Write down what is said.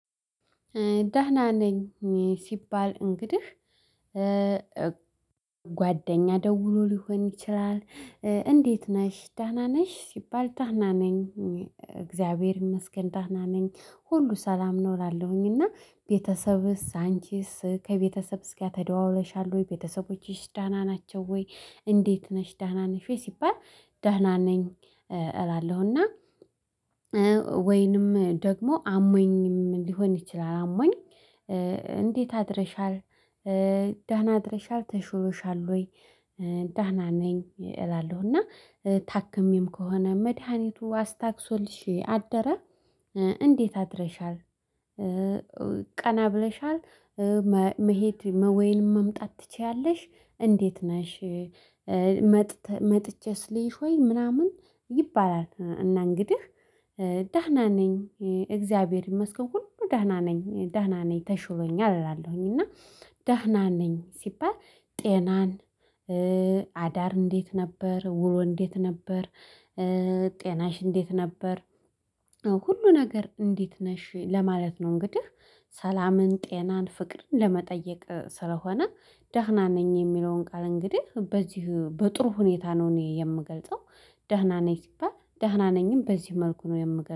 ዳህና ነኝ ሲባል እንግዲህ ጓደኛ ደውሎ ሊሆን ይችላል። እንዴት ነሽ ዳና ነሽ ሲባል ዳህና ነኝ። እግዚአብሔር ይመስገን ደና ነኝ ሁሉ ሰላም ነው። እላለሁኝ እና ቤተሰብስ አንቺስ ከቤተሰብስ ጋር ተደዋውለሻል ወይ ቤተሰቦች ዳና ናቸው ወይ? እንዴት ነሽ ዳና ነሽ ወይ ሲባል? ዳና ነኝ። እላለሁና ወይንም ደግሞ አሞኝም ሊሆን ይችላል አሞኝ። እንዴት አድረሻል? ዳህና አድርሻል ተሽሎሻል ወይ? ዳህና ነኝ እላለሁ እና ታክሜም ከሆነ መድሃኒቱ አስታግሶልሽ አደረ። እንዴት አድረሻል? ቀና ብለሻል። መሄድ ወይንም መምጣት ትችያለሽ። እንዴት ነሽ? መጥቼስ ልይሽ ወይ ምናምን ይባላል። እና እንግዲህ ደህና ነኝ እግዚአብሔር ይመስገን ሁሉ ደህና ነኝ ደህና ነኝ ተሽሎኛል እላለሁኝ። እና ደህና ነኝ ሲባል ጤናን? አዳር እንዴት ነበር ውሎ እንዴት ነበር? ጤናሽ እንዴት ነበር? ሁሉ ነገር እንዴት ነሽ ለማለት ነው። እንግዲህ ሰላምን ጤናን ፍቅርን ለመጠየቅ ስለሆነ ደህና ነኝ። የሚለውን ቃል እንግዲህ በዚህ በጥሩ ሁኔታ ነው እኔ የምገልጸው። ደህና ነኝ ሲባል ደህና ነኝም በዚህ መልኩ ነው የምገርመው